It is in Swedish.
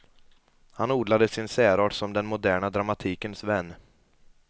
Han odlade sin särart som den moderna dramatikens vän.